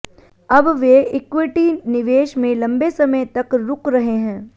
अब वे इक्विटी निवेश में लंबे समय तक रूक रहे हैं